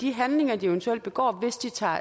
de handlinger de eventuelt begår hvis de tager